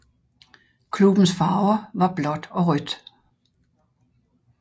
Klubbens farver var blåt og rødt